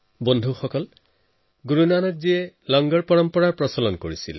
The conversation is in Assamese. বন্ধুসকল গুৰু নানক জীয়ে লংগৰ প্ৰথা আৰম্ভ কৰিছিল